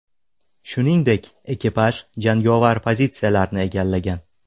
Shuningdek, ekipaj jangovar pozitsiyalarni egallagan.